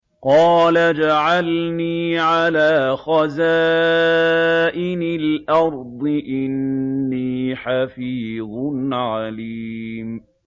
قَالَ اجْعَلْنِي عَلَىٰ خَزَائِنِ الْأَرْضِ ۖ إِنِّي حَفِيظٌ عَلِيمٌ